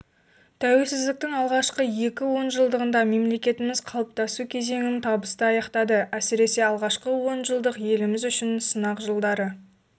тәуелсіздіктің алғашқы екі онжылдығында мемлекетіміз қалыптасу кезеңін табысты аяқтады әсіресе алғашқы онжылдық еліміз үшін сынақ жылдары